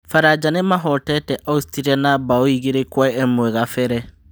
Baranja nĩ mahootete Austria na mbaũ igĩrĩ kwa ĩmwe kabere.